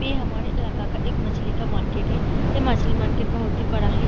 ये हमारे इलाका का एक मछली का मार्केट हैं | ये मछली मार्केट बहुत ही बड़ा है |